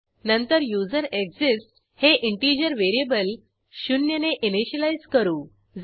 नंतर युझरेक्सिस्ट्स हे integer variable 0 ने इनिशियलाईज करू